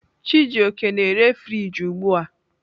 Chijioke na-ere friji ugbu a.